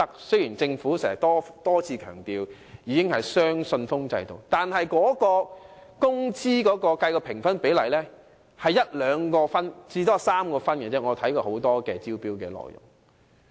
雖然政府多次強調已採用"雙信封制"招標，但根據我查閱的眾多招標文件，工資的評分比例只佔1分、2分或最多3分。